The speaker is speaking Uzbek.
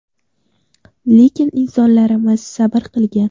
Lekin insonlarimiz sabr qilgan.